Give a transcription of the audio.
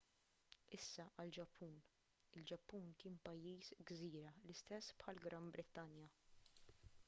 issa għall-ġappun il-ġappun kien pajjiż gżira l-istess bħall-gran brittanja